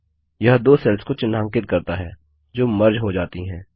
यह दो सेल्स को चिन्हांकित करता है जो मर्ज हो जाती हैं